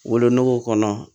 Wolonugu kɔnɔ